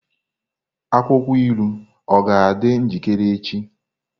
Akwụkwọ ilu ọ ga-adị njikere echi?